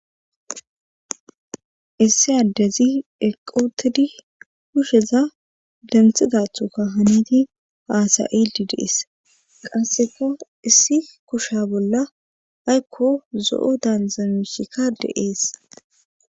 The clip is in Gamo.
issi addezi eqotedi kusheza denthidathoka haniti haasayidi dees qasseka issi kusha bolla haykko zo7o daanzamushikka deees